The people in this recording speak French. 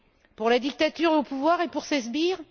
Pour la dictature au pouvoir et pour ses sbires?